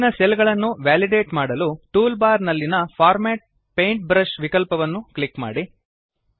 ಕೆಳಗಿನ ಸೆಲ್ ಗಳನ್ನು ವೇಲಿಡೇಟ್ ಮಾಡಲು ಟೂಲ್ ಬಾರ್ ನಲ್ಲಿನ ಫಾರ್ಮ್ಯಾಟ್ ಪೇಂಟ್ಬ್ರಷ್ ವಿಕಲ್ಪವನ್ನು ಕ್ಲಿಕ್ ಮಾಡಿ